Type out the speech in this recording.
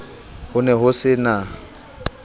ho ne ho se na